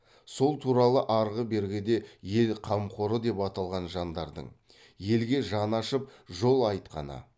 сол туралы арғы бергіде ел қамқоры деп аталған жандардың елге жаны ашып жол айтқаны